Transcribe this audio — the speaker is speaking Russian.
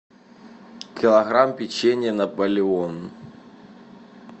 килограмм печенья наполеон